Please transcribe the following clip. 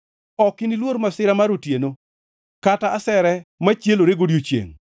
Ok iniluor masira mar otieno, kata asere machielore godiechiengʼ,